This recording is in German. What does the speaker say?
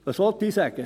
Was will ich sagen?